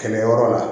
Kɛlɛ yɔrɔ la